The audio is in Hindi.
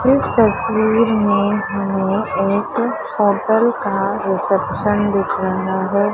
इस तस्वीर में एक होटल का रिसेप्शन दिख रहा है।